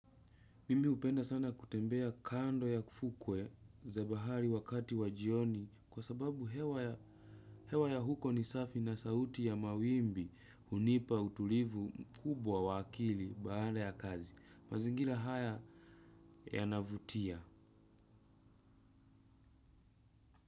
Mimi hupenda sana kutembea kando ya fukwe za bahari wakati wa jioni kwa sababu hewa ya hewa ya huko ni safi na sauti ya mawimbi hunipa utulivu mkubwa wa akili baada ya kazi. Mazingira haya yanavutia.